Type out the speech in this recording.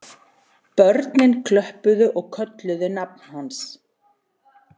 Börnin klöppuðu og kölluðu nafn hans